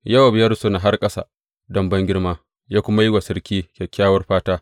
Yowab ya rusuna har ƙasa don bangirma, ya kuma yi wa sarki kyakkyawar fata.